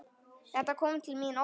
Þetta kom til mín óvænt.